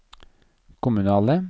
kommunale